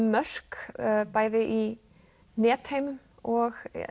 mörk bæði í netheimum og